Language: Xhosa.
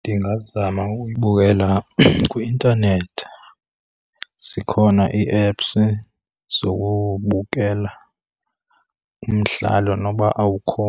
Ndingazama ukuyibukela kwi-intanethi. Zikhona ii-apps zokubukela umdlalo noba awukho